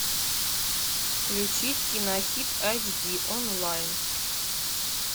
включить кинохит айч ди онлайн